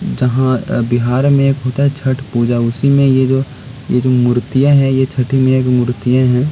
जहाँ बिहार में एक होता है छठ पूजा उसी में ये जो ये जो मुर्तियाँ हैं छठी मइयां की मुर्तियाँ हैं ।